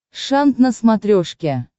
шант на смотрешке